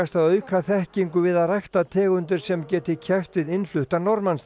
að auka þekkingu við að rækta tegundir sem geti keppt við innfluttan